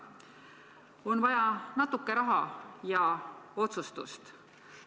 On vaja natuke raha ja otsustust.